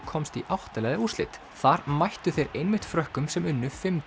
komst í átta liða úrslit þar mættu þeir einmitt Frökkum sem unnu fimm